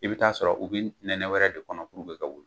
I be t'a sɔrɔ u be nɛnɛ wɛrɛ de kɔnɔ puruke ka wuli